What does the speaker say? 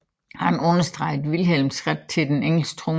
Han understregede Vilhelms ret til den engelske trone